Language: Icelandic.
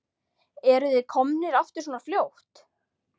Eruð þið komnir aftur svona fljótt?